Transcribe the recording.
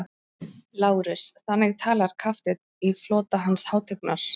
LÁRUS: Þannig talar kafteinn í flota Hans hátignar?